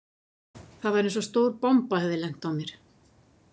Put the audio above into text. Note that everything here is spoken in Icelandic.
Það var eins og stór bomba hefði lent á mér.